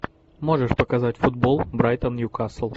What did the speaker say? можешь показать футбол брайтон ньюкасл